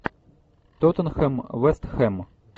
тоттенхэм вест хэм